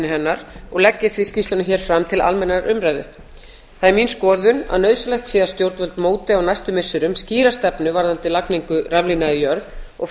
hennar og legg ég því skýrsluna fram til almennrar umræðu það er mín skoðun að nauðsynlegt sé að stjórnvöld móti á næstu missirum skýra stefnu varðandi lagningu raflína í jörð og